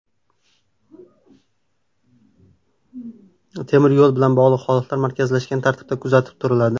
Temir yo‘l bilan bog‘liq holatlar markazlashgan tartibda kuzatib turiladi.